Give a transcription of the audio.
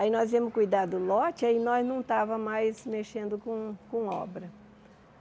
Aí nós íamos cuidar do lote e nós não estávamos mais mexendo com com obra.